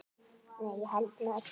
Nei, ég held með öllum.